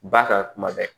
Ba kan kuma bɛɛ